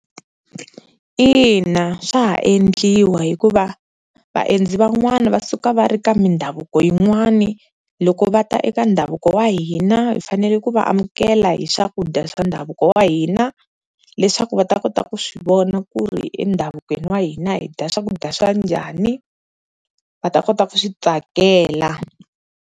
Ina swa ha endliwa hikuva vaendzi van'wani va suka va ri ka mindhavuko yin'wani loko va ta eka ndhavuko wa hina hi fanele ku va amukela hi swakudya swa ndhavuko wa hina, leswaku va ta kota ku swi vona ku ri endhavukweni wa hina hi dya swakudya swa njhani va ta kota ku swi tsakela.